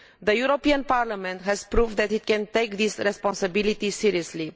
The European Parliament has proved that it can take this responsibility seriously.